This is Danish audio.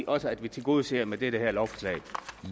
også at vi tilgodeser med dette lovforslag